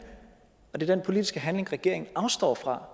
og det er den politiske handling regeringen afstår fra